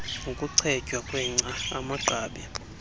ukuchetywa kwengca amagqabi